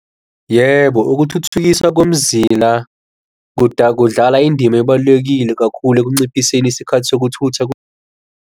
Yebo, ukuthuthukisa komzila kudlala indima ebalulekile kakhulu ekunciphiseni isikhathi sokuthutha .